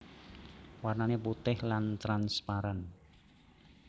Warnane putih lan transparan